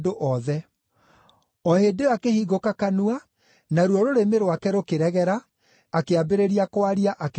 O hĩndĩ ĩyo akĩhingũka kanua, naruo rũrĩmĩ rwake rũkĩregera, akĩambĩrĩria kwaria, akĩgooca Ngai.